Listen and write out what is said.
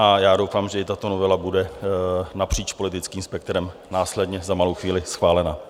A já doufám, že i tato novela bude napříč politickým spektrem následně za malou chvíli schválena.